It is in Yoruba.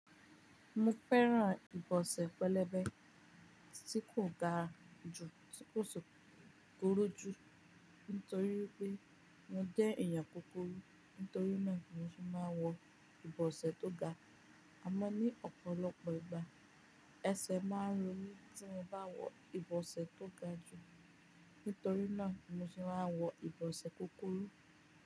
Mo fẹ́ran ìbọsẹ̀ pẹlẹbẹ tí kò ga ju, tí kò si kuruju nítorí pé mo jẹ́ èèyàn kúkúrú. Nítorí náà, mo ti máa ń wọ ìbọsẹ̀ tó ga, àmọ́ ní ọ̀pọ̀lọpọ̀ ìgbà ẹsẹ̀ máa ń ro mí tí mo bá wọ ìbọsẹ̀ tó ga jù. Nítorí náà, mo ti máa ń wọ ìbọsẹ̀ kúkúrú.